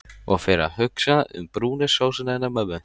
Og fer að hugsa um brúnu sósuna hennar mömmu.